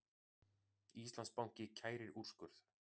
Íslandsbanki kærir úrskurð